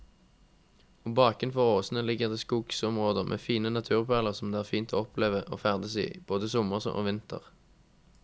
Og bakenfor åsene ligger det skogsområder med fine naturperler som det er fint å oppleve og ferdes i, både sommer og vinter.